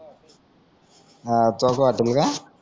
हा